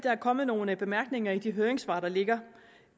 er kommet nogle bemærkninger i de høringssvar der ligger